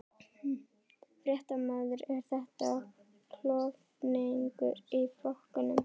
Fréttamaður: Er þetta klofningur í flokknum?